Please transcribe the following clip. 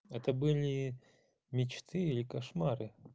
это были мечты или кошмары